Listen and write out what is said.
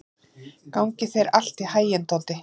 Gangi þér allt í haginn, Doddi.